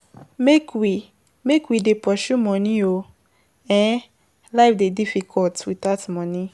Make we make we dey pursue moni o, um life dey difficult witout moni.